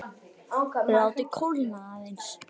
Látið kólna aðeins.